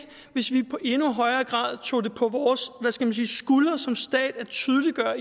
hvis vi i endnu højere grad tog det på vores skuldre som stat at tydeliggøre